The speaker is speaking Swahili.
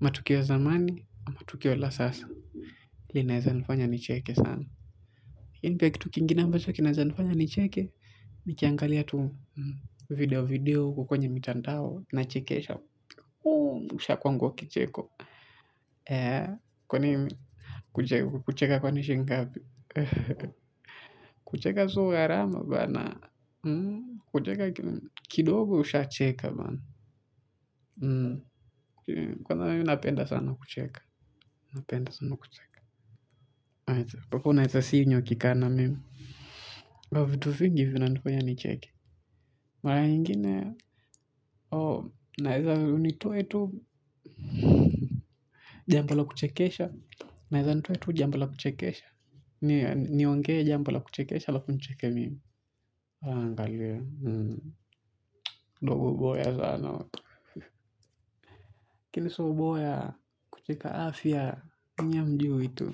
Matukio ya zamani. Matukiwa la sasa. Linaeza nifanya nicheke sana. Hii ni pia kitu kingine ambacho kinaeza nifanya nicheke. Nikiangalia tu video video huku kwenye mitandao. Nachekesha ushaagua kicheko kwa nini kucheka kwani shilingi ngapi kucheka sio gharama bana kidogo ushaacheka. Kwanza mimi napenda sana kucheka. Napenda sana kucheka mpaka unaeza sinywa ukikaa na mimi. Kwa vitu vingi vina nfanya nicheke. Mara nyingine naeza nitoe tu jambo la kuchekesha. Naeza nitue tu jambo la kuchekesha. Niongee jambo la kuchekesha alafu nicheke mimi waangalie Ngoboboya sana Kinsooboya. Kucheka afya. Nyi hamjui tu.